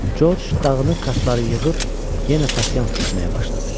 George dağıını kartları yığıb yenə pasiyans düzməyə başladı.